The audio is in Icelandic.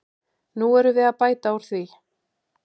Nú erum við að bæta úr því.